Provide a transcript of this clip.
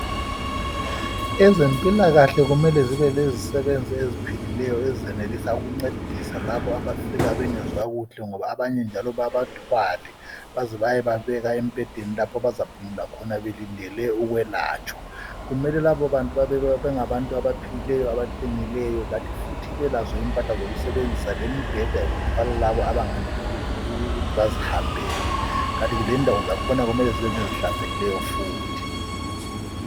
Ezempilakahle kumele zibe lezisebenzi eziphilileyo ezenelisa ukuncedisa labo abfika bengezwakuhle ngoba abanye njalo babathwale baze bayebabeka embhedeni lapho abazaphumula khona belindele ukwelatshwa. Kumele labo bantu babe ngabantu abaphilileyo, abaqinileyo kanti futhi belazo impahla zokusebenzisa lembheda yokuthwala labo abangenelisi ukuthi bazihambela kanye lendawo zakhona kumele kube ngezihlanzekileyo futhi.